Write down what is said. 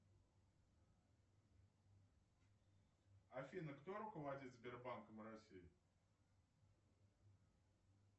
афина кто руководит сбербанком россии